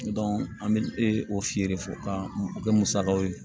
an bɛ o feere fɔ o bɛ musakaw ye